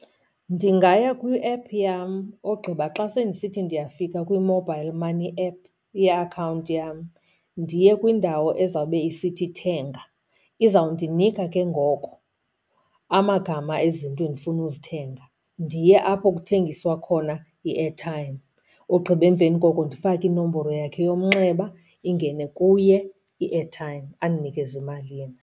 Ndingaya kwi-app yam, ogqiba xa sendisithi ndiyafika kwi-mobile money app yeakhawunti yam ndiye kwindawo ezawube isithi thenga. Izawundinika ke ngoko amagama ezinto endifuna uzithenga, ndiye apho kuthengiswa khona i-airtime. Ogqiba emveni koko ndifake inomboro yakhe yomnxeba, ingene kuye i-airtime andinikeze imali yena.